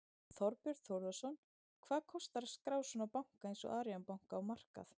Þorbjörn Þórðarson: Hvað kostar að skrá svona banka eins og Arion banka á markað?